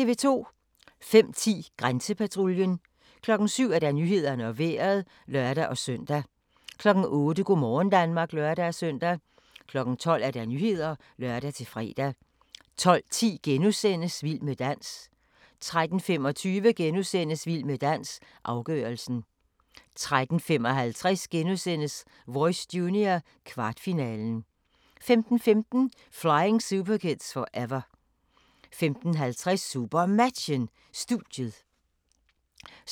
05:10: Grænsepatruljen 07:00: Nyhederne og Vejret (lør-søn) 08:00: Go' morgen Danmark (lør-søn) 12:00: Nyhederne (lør-fre) 12:10: Vild med dans * 13:25: Vild med dans - afgørelsen * 13:55: Voice Junior - kvartfinalen * 15:15: Flying superkids forever 15:50: SuperMatchen: Studiet 16:05: SuperMatchen: Bjerringbro-Silkeborg - Skjern (m), direkte